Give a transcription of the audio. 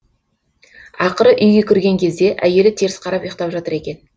ақыры үйге кірген кезде әйелі теріс қарап ұйықтап жатыр екен